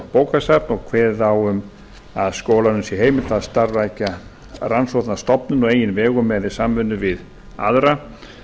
bókasöfn og kveðið á um að skólanum sé heimilt að starfrækja rannsóknarstofnun á eigin vegum eða í samvinnu við aðra